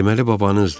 Deməli babanızdır.